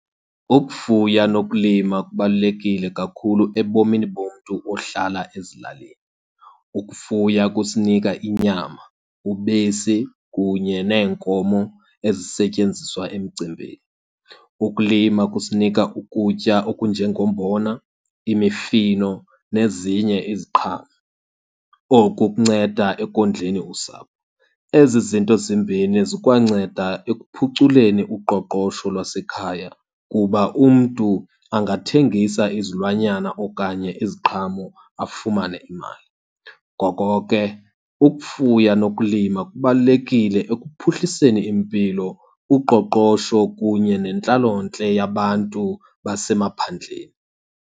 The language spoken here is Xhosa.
Ukufuya nokulima kubalulekile kakhulu ebomini bomntu ohlala ezilalini. Ukufuya kusinika inyama, ubisi, kunye neenkomo ezisetyenziswa emcimbini. Ukulima kusinika ukutya okunjengombona, imifino, nezinye iziqhamo. Oku kunceda ekondleni usapho. Ezi zinto zimbini zikwanceda ekuphuculeni uqoqosho lwasekhaya kuba umntu angathengisa izilwanyana okanye iziqhamo afumane imali. Ngoko ke, ukufuya nokulima kubalulekile ekuphuhliseni impilo, uqoqosho, kunye nentlalontle yabantu basemaphandleni.